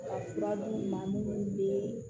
Ka fura d'u ma munnu be